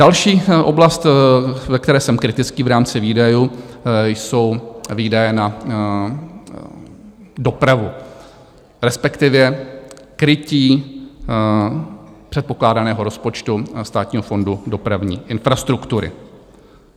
Další oblast, ve které jsem kritický v rámci výdajů, jsou výdaje na dopravu, respektive krytí předpokládaného rozpočtu Státního fondu dopravní infrastruktury.